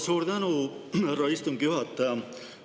Suur tänu, härra istungi juhataja!